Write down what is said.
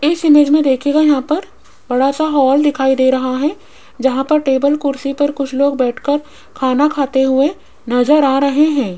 इस इमेज में दिखेगा यहां पर बड़ा सा हॉल दिखाई दे रहा है जहां पर टेबल कुर्सी पर कुछ लोग बैठकर खाना खाते हुए नजर आ रहे हैं।